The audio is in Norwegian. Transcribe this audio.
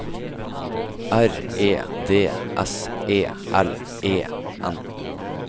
R E D S E L E N